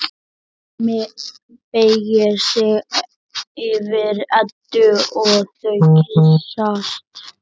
Hemmi beygir sig yfir Eddu og þau kyssast.